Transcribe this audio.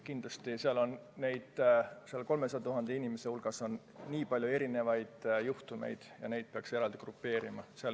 Kindlasti on nende 300 000 inimese hulgas väga palju erinevaid juhtumeid ja neid peaks eraldi grupeerima.